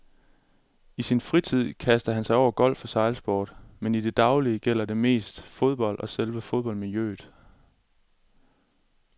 I sin fritid kaster han sig over golf og sejlsport, men i det daglige gælder det mest fodbold og selve fodboldmiljøet.